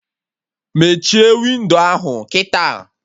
Mechie windo ahụ kịta!